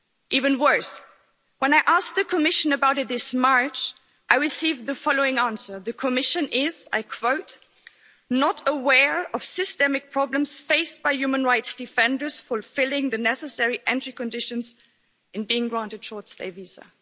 Even worse, when I asked the Commission about it this March, I received the following answer the Commission is, and I quote, not aware of systemic problems faced by human rights defenders fulfilling the necessary entry conditions in being granted short stay visas'.